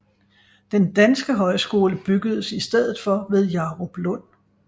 Den danske højskole byggedes i stedet for ved Jaruplund